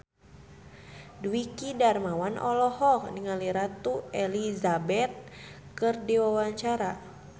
Dwiki Darmawan olohok ningali Ratu Elizabeth keur diwawancara